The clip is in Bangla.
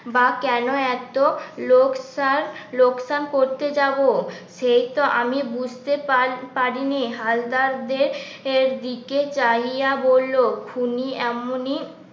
বা কেন এত লোকসান লোকসান করতে যাব সেই তো আমি বুঝতে পা পারিনি হালদার এর দিকে চাহিয়া বলল উনি এমনই